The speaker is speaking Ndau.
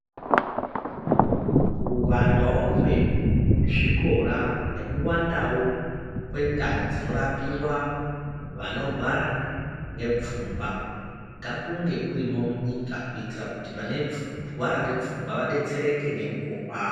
Kuwandawo kwezvikora, nekuwandawo kwendau dzinorapiwa vanorwara ngepfungwa, ngakunge kurimo munyika kuitira kuti vanorwara ngepfungwa vadetsereke ngemukuwo kwawo.